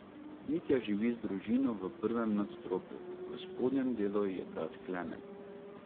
Mitja živi z družino v prvem nadstropju, v spodnjem delu je brat Klemen.